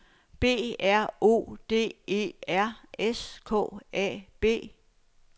B R O D E R S K A B